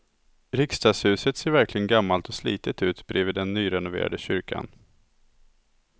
Riksdagshuset ser verkligen gammalt och slitet ut bredvid den nyrenoverade kyrkan.